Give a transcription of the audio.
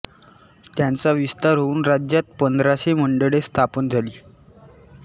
त्याचा विस्तार होऊन राज्यात पंधराशे मंडळे स्थापन झाली